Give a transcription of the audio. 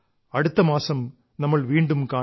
അടുത്തമാസം നമ്മൾ വീണ്ടും കാണും